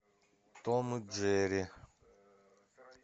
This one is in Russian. том и джерри